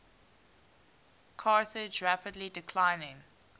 carthage rapidly declining